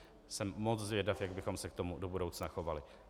Jsem moc zvědav, jak bychom se k tomu do budoucna chovali.